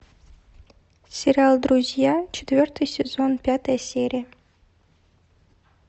сериал друзья четвертый сезон пятая серия